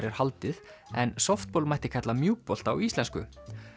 er haldið en mætti kalla á íslensku